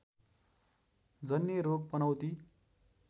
जन्य रोग पनौती